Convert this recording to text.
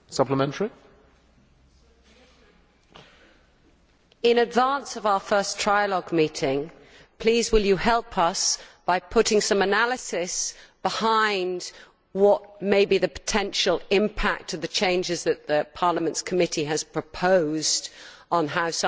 In advance of our first trialogue meeting, please will you help us by putting some analysis behind what the potential impact will be of the changes that Parliament's committee has proposed on how science could be funded, and what the impact of those reallocations